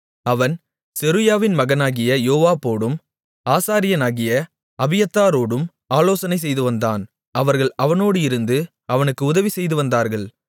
அவன் செருயாவின் மகனாகிய யோவாபோடும் ஆசாரியனாகிய அபியத்தாரோடும் ஆலோசனை செய்துவந்தான் அவர்கள் அவனோடு இருந்து அவனுக்கு உதவி செய்துவந்தார்கள்